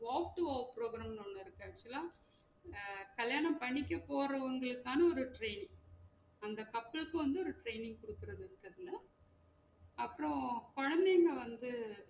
walk to walk program இங்க இருக்கு actual ல அஹ் கல்யாணம் பண்ணிக்க போரவங்களுக்கான ஒரு training அந்த couples க்கு வந்து ஒரு training குடுக்குறது அப்றம் குழந்தைங்க வந்து